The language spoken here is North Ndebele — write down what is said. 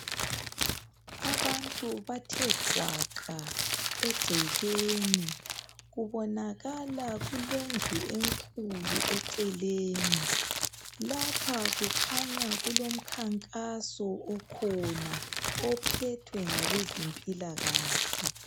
Abantu bathe gwaqa egcekeni, kubonakala kulendlu enkulu eceleni. Lapha kukhanya kulomnkankaso okhona ophethwe ngabe zemphilakahle.